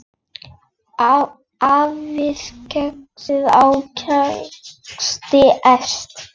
Hafið ferska ávexti efst.